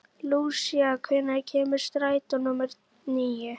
Lúsía, hvenær kemur strætó númer níu?